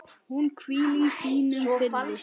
Hún hvíli í þínum friði.